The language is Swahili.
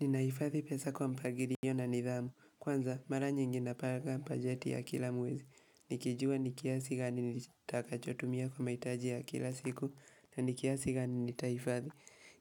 Ninahifadhi pesa kwa mpangilio na nidhamu. Kwanza, mara nyingi na panga bajeti ya kila mwezi. Nikijua ni kiasi gani nitakachotumia kwa mahitaji ya kila siku na ni kiasi gani nitaihifadhi.